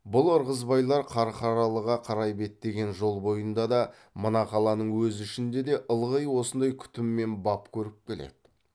бұл ырғызбайлар қарқаралыға қарай беттеген жол бойында да мына қаланың өз ішінде де ылғи осындай күтім мен бап көріп келеді